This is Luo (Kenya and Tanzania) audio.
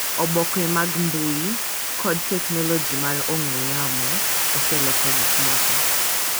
Oboke mag mbui, kod teknoloji mar ong'we yamo oseloko gik moko